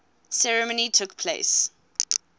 ceremony took place